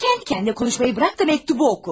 He, Kəndi-kəndinə danışmağı burax da məktubu oxu.